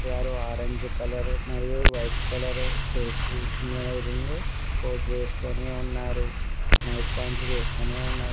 వారు orange colour మరియు white colour coat వేసుకొని ఉన్నారు నైట్ పాంట్లు